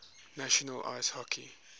national ice hockey